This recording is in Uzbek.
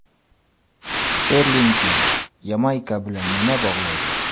Sterlingni Yamayka bilan nima bog‘laydi?